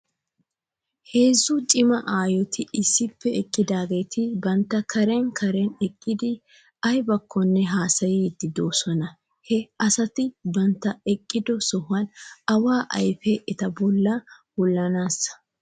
Heezzu cima aayoti issippe eqqidaageeti bantta karen karen eqqidi aybakkonne haasayiidi de'oosona. He asati bantta eqqido sohuwan awaa ayfee eta bolla wulanaanes.